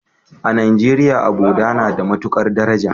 A Najeriya, abota na da matukar daraja.